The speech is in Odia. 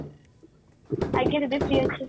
ଆଜ୍ଞା ଦିଦି free ଅଛି